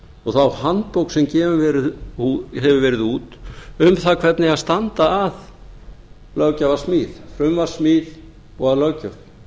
og þá handbók sem gefin hefur verið út um það hvernig á að standa að löggjafarsmíð frumvarpssmíð og að löggjöf